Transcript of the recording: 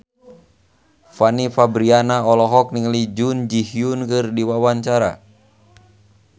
Fanny Fabriana olohok ningali Jun Ji Hyun keur diwawancara